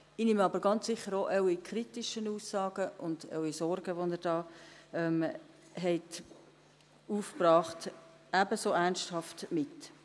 Ich nehme aber ganz sicher auch Ihre kritischen Aussagen und Ihre Sorgen, die Sie da aufgebracht haben, ebenso ernsthaft mit.